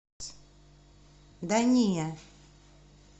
да не